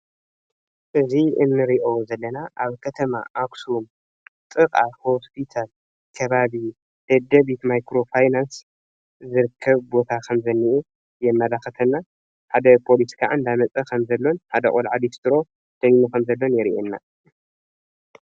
እዙይ እንሪኦ ዘለና ኣብ ከተማ ኣክሱም ጥቃ ሆስፒታል ከባቢ ደደቢት ማይክሮ ፋይናንስ ዝርከብ ቦታ ከምዝኒኤ የማላክተና ። ሓደ ፖሊስ ከዓ እናመፀ ከም ዘሎን ሓደ ቆልዓ ሊስትሮ ከም ዘሎን የርኤና።